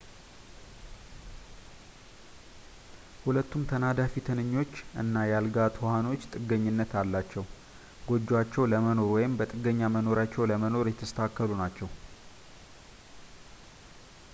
ሁለቱም ተናዳፊ-ትንኞች እና የአልጋ ትኋኖች ጥገኝነት ያላቸው ጎጆአቸው ለመኖር ወይም በጥገኛ መኖሪያቸው ለመኖር የተስተካከሉ ናቸው